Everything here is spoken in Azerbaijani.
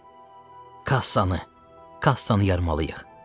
Kassanı, kassanı yarmalıyıq!